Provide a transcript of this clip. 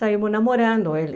Saímos namorando, ele...